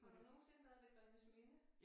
Har du nogensinde været ved Grennesminde?